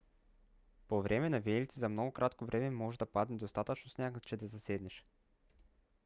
по време на виелици за много кратко време може да падне достатъчно сняг че да заседнеш